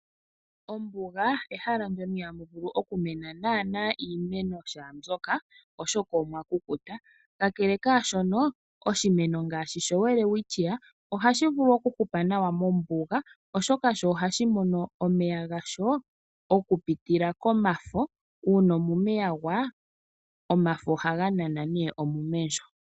Ombuga ehala mono ihaamu vulu okumena naana iimeno shaambyoka oshoka omwa kukuta. Kakele kaashono oshimeno ngaashi shoWelwitchia ohashi vulu okuhupa nawa mombuga oshoka sho ohashi mono omeya gasho okupitila komafo, uuna omume ya gwa omafo ohaga nana nee omume ndjo.